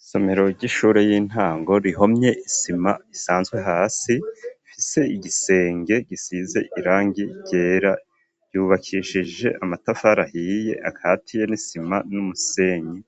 Isomero ry'ishure y'intango, rihomye isima isanzwe hasi, ifise igisenge gisize irangi ryera, yubakishije amatafari ahiye akatiye n'isima n'umusenyi;